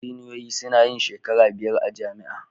injiniyoyi sunayin shekara biyar a jamia